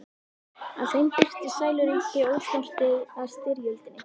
Á þeim birtist sæluríki, ósnortið af styrjöldinni.